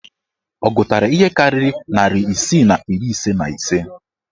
Ọ gụtara ihe karịrị narị isii na iri ise na ise?